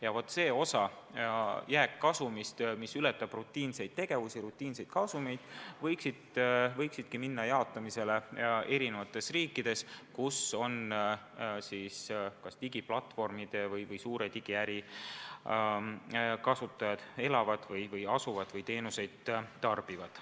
Ja vaat see osa jääkkasumist, mis ületab rutiinse tegevuse kasumeid, võikski minna jaotamisele eri riikides, kus digiplatvormide või suure digiäri kasutajad elavad või asuvad või teenuseid tarbivad.